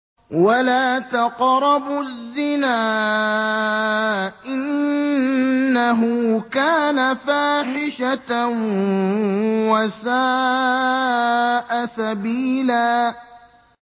وَلَا تَقْرَبُوا الزِّنَا ۖ إِنَّهُ كَانَ فَاحِشَةً وَسَاءَ سَبِيلًا